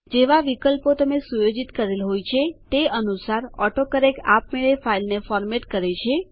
જેવા વિકલ્પો તમે સુયોજિત કરેલ હોય તે અનુસાર ઓટોકરેક્ટ આપમેળે ફાઈલને ફોરમેટ્સ બંધારણ કરે છે